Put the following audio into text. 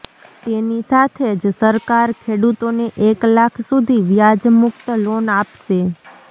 તેની સાથે જ સરકાર ખેડૂતોને એક લાખ સુધી વ્યાજમુક્ત લોન આપશે